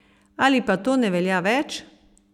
Ali pa to ne velja več?